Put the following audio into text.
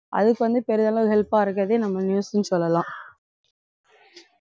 அதுக்கு வந்து பெரிய அளவு help ஆ இருக்கிறதே நம்ம news ன்னு சொல்லலாம்